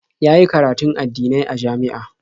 Ya yi karatun addinai a jami'a.